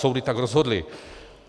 Soudy tak rozhodly.